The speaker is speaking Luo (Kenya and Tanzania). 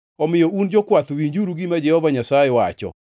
Omiyo, un jokwath, winjuru gima Jehova Nyasaye wacho: